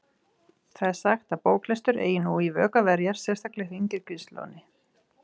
Það er sagt að bóklestur eigi nú í vök að verjast, sérstaklega hjá yngri kynslóðinni.